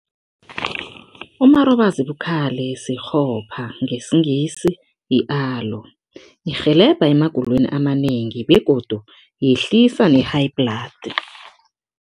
Umarobazibukhali sikghopha, ngesiNgisi yi-aloe. Irhelebha emagulweni amanengi begodu yehlisa ne-high blood.